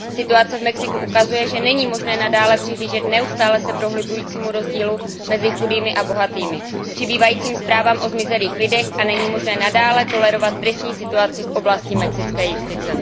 Situace v Mexiku ukazuje, že není možné nadále přihlížet neustále se prohlubujícímu rozdílu mezi chudými a bohatými, přibývajícím zprávám o zmizelých lidech a není možné nadále tolerovat tristní situaci v oblasti mexické justice.